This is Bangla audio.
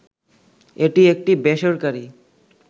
এটি একটি বেসরকারী